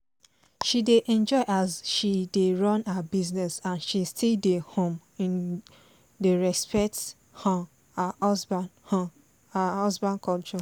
she dey enjoy as she dey run her business and she still um dey respect um her husband um her husband culture